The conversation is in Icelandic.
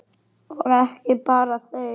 Og ekki bara þeir.